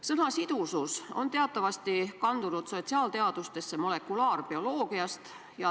Sõna "sidusus" on teatavasti kandunud sotsiaalteadustesse molekulaarbioloogiast.